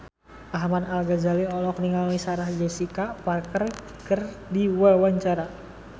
Ahmad Al-Ghazali olohok ningali Sarah Jessica Parker keur diwawancara